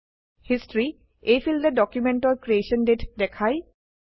history এই ফীল্ডে ডকুমেন্টৰ ক্ৰিএশ্যন দাঁতে দেখায়